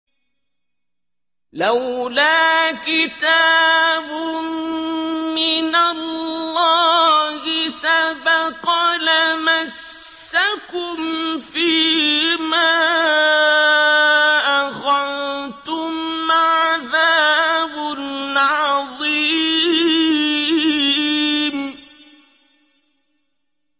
لَّوْلَا كِتَابٌ مِّنَ اللَّهِ سَبَقَ لَمَسَّكُمْ فِيمَا أَخَذْتُمْ عَذَابٌ عَظِيمٌ